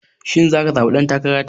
Shin zaka zaɓi ɗan takara ta?